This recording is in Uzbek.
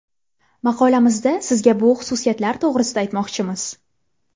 Maqolamizda sizga bu xususiyatlar to‘g‘risida aytmoqchimiz.